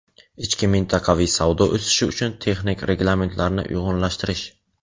ichki mintaqaviy savdo o‘sishi uchun texnik reglamentlarni uyg‘unlashtirish;.